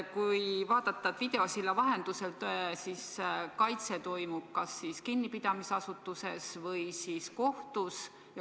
Kui kõik käib videosilla vahendusel, kas siis kaitse toimub kinnipidamisasutuses või kohtus?